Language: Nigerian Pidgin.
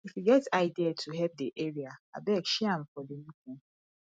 if you get idea to help the area abeg share am for the meeting